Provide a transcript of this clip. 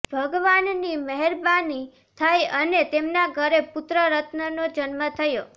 ભગવાનની મહેરબાની થઈ અને તેમના ઘરે પુત્ર રત્નનો જન્મ થયો